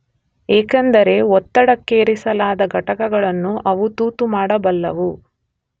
ಏಕೆಂದರೆ ಒತ್ತಡಕ್ಕೇರಿಸಲಾದ ಘಟಕಗಳನ್ನು ಅವು ತೂತು ಮಾಡಬಲ್ಲವು.